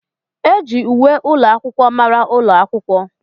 Eji uwe ụlọ akwụkwọ mara ụlọ akwụkwọ.